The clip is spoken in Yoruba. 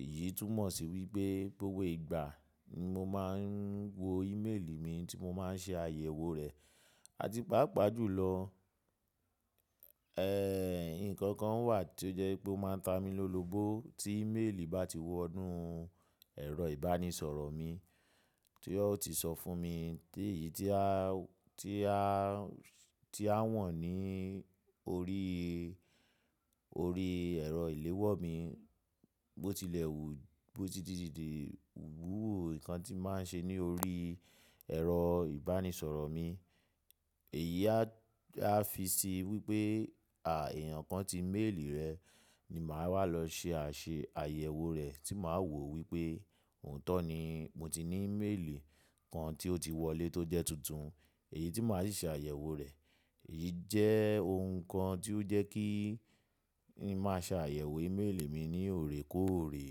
Èyí túmọ̀ sí wípé gbogbo ìgbà ni mo máa ń wo ímélì mi tí mo máa ń ṣe àyẹ̀wò rẹ̀. Àti pàápàá jùlọ, ẹ́, ǹkan kan wà tí ó jẹ́ wipé ó máa ń ta mi lólobó tí ímélì bá ti wọ inú ẹ̀rọ ìbánisọ̀rọ̀ mi tí ó ti sọ fún mi, ti èyí tí a, tí a, tí a han ní orí, orí ẹ̀rọ ìléwọ́ mi bó tilẹ̀ wù ú, bó ti dìdídi wu nǹkan tí n ba n ṣe ní orí ẹ̀rọ ìbánisọ̀rọ̀ mi. Èyí á fi sí i wípé, à, ẹ̀yàn kan tí ímélì rẹ̀ ni màá wà lọ ṣe àṣe àyẹ̀wò rẹ̀ tí màá wò wípé òótọ́ ni mo ti ní ímélì kan tí ó ti wọlé tó jẹ́ tuntun èyí tí màá sì ṣe àyẹ̀wò rẹ̀. Èyí jẹ́ ohun kan tí ó jẹ́ kí n màá ṣe àyẹ̀wò ímélì mi ní òrékòrè.